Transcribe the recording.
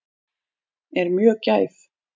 Er mjög gæf.